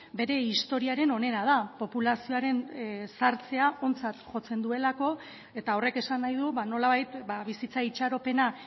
bere historiaren onena da populazioaren zahartzea ontzat jotzen duelako eta horrek esan nahi du nolabait bizitza itxaropena